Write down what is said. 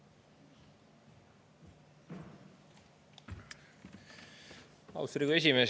Austatud Riigikogu esimees!